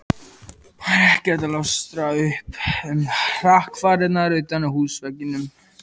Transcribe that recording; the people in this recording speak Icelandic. Var ekkert að ljóstra upp um hrakfarirnar utan á húsveggnum.